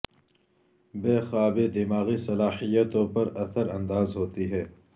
بے خوابی دماغی صلاحیتوں پر اثر انداز ہوتی ہے